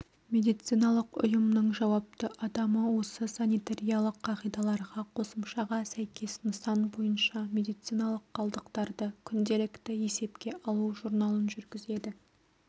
медициналық ұйымның жауапты адамы осы санитариялық қағидаларға қосымшаға сәйкес нысан бойынша медициналық қалдықтарды күнделікті есепке алу журналын жүргізеді